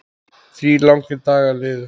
Þrír langir dagar liðu.